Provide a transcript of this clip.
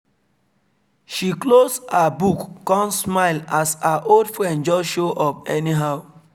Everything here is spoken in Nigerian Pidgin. she close her book come smile as her old friend just show up anyhow